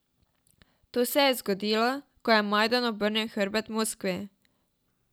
To se je zgodilo, ko je Majdan obrnil hrbet Moskvi.